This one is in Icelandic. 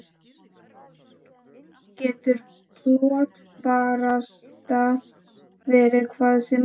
Getur plott barasta verið hvað sem er?